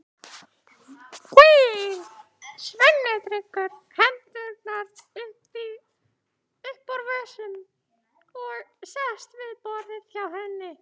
Svenni dregur hendurnar upp úr vösunum og sest við borðið hjá henni.